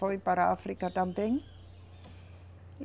Foi para a África também.